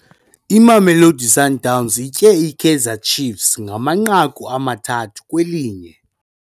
Imamelodi Sundowns itye iKaizer Chiefs ngamanqaku amathathu kwelinye.